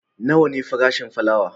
Nawa ne farashin fulawa?